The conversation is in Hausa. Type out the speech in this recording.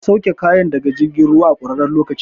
An sauke kayan daga jirgin ruwan a ƙurarren lokaci